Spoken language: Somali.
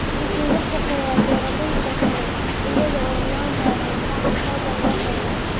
Wuxuu la shaqeeyaa beeralayda kale iyada oo loo marayo madal online ah.